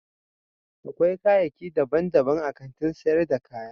Akwai kayaki dabban dabban a Kantin sayar da kaya